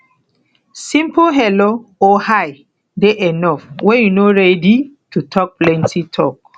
simple hello or hi dey enough when you no ready to talk plenty talk